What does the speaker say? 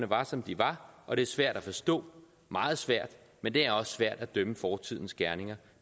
var som de var og det er svært at forstå meget svært men det er også svært at dømme fortidens gerninger